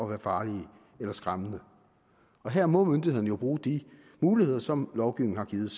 være farlige eller skræmmende og her må myndighederne jo bruge de muligheder som lovgivningen har givet